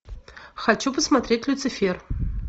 хочу посмотреть люцифер